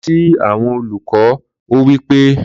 Lọ si awọn Oluko! ó wí pé